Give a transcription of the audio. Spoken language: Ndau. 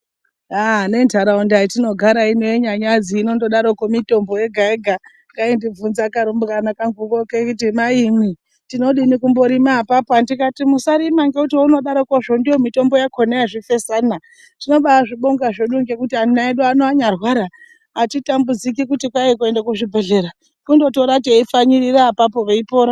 Aaa nentaraunda yatinogara ineyi yeNyanyadzi inondodaroko mitombo yega yega kaindibvunza kurumbwana kanguko keiti Maimwi tinodini kumborima apapo , ndikati musarima ngekuti eunodarokozvo ndiyo mitombo yakona yezvifesana tinobazvibonga zvedu ngekuti ana edu anyarwara atitambudziki kuti kwai kuenda kuzvibhedhlera kundotora teipfanyirira apapo veipora.